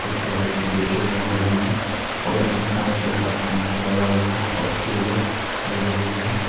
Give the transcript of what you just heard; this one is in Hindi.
एक ठो व्यक्ति बैठे हुवे है बगल में और इसमें फोन पे का स्कैनर लगा हुआ है और टेबल लगे हुवे हैं।